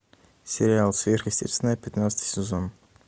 сериал сверхъестественное пятнадцатый сезон